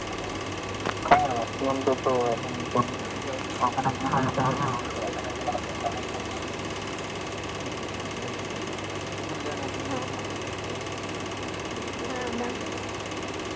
এখন থেকে ব্যাঙ্গালোর থেকে ওখানে যাই করতে যাই